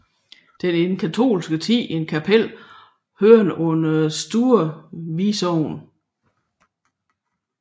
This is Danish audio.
Den var i den katolske tid et kapel hørende under Store Vi Sogn